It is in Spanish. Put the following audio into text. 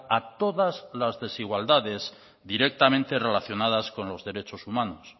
a todas las desigualdades directamente relacionadas con los derechos humanos